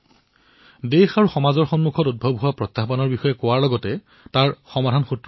লোক দেশ আৰু সমাজৰ সন্মুখত থিয় দিয়া প্ৰত্যাহ্বানসমূহক লক্ষ্য কৰিলে তাৰ সমাধানো পোৱা যায়